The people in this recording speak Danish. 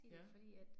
Ja